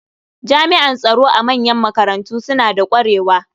Jami'an tsaro a manyan makarantu suna da ƙwarewa.